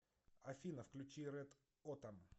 афина включи рэд отам